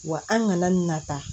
Wa an kana na ta